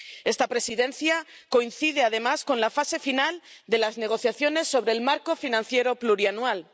Esta Presidencia coincide además con la fase final de las negociaciones sobre el marco financiero plurianual.